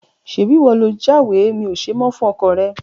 Ṣebí ìwọ lo jáwèé mi ò ṣe mọ́ fún ọkọọ̀ rẹ?